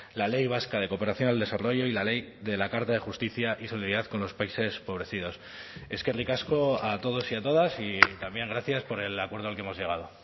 la ley vasca de cooperación al desarrollo y la ley de la carta de justicia y solidaridad con los países empobrecidos eskerrik asko a todos y a todas y también gracias por el acuerdo al que hemos llegado